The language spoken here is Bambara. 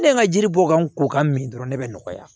Ne ye n ka jiri bɔ ka n ko ka min dɔrɔn ne bɛ nɔgɔya